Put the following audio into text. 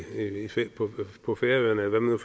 på færøerne eller hvad man